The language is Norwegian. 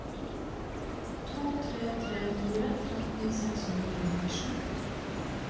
to tre tre fire tretten seks hundre og nittisju